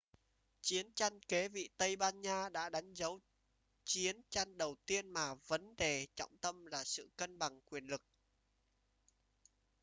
chiến tranh kế vị tây ban nha đã đánh dấu chiến tranh đầu tiên mà vấn đề trọng tâm là sự cân bằng quyền lực